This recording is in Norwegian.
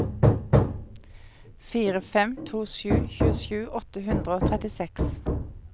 fire fem to sju tjuesju åtte hundre og trettiseks